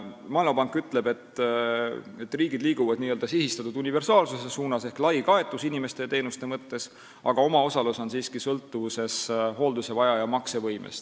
Maailmapank ütleb, et riigid liiguvad n-ö sihistatud universaalsuse suunas, s.o lai kaetus inimeste ja teenuste mõttes, aga omaosalus siiski sõltub hoolduse vajaja maksevõimest.